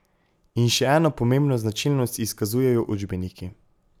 In še eno pomembno značilnost izkazujejo učbeniki.